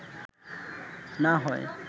না হয়